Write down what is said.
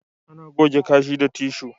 Ana goge kashi da tishu